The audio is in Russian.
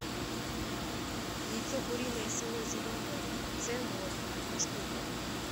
яйцо куриное село зеленое ц ноль одна штука